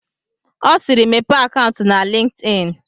Ọ siiri, Mepee akaụntụ na LinkedIn!